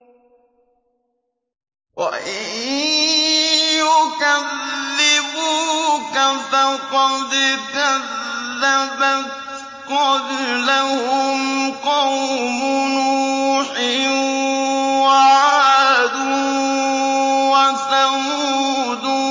وَإِن يُكَذِّبُوكَ فَقَدْ كَذَّبَتْ قَبْلَهُمْ قَوْمُ نُوحٍ وَعَادٌ وَثَمُودُ